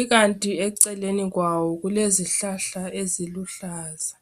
Ikanti eceleni kwawo kulezihlahla eziluhlaza